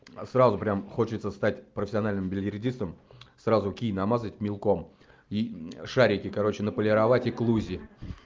а сразу прямо хочется стать профессиональным бильярдистом сразу кий намазать мелком и шарики короче отполировать и к лузе